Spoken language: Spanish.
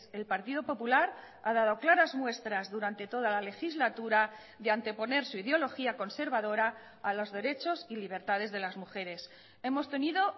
el partido popular ha dado claras muestras durante toda la legislatura de anteponer su ideología conservadora a los derechos y libertades de las mujeres hemos tenido